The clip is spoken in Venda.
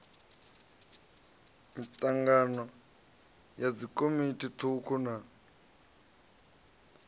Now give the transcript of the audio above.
mitangano ya dzikomiti thukhu na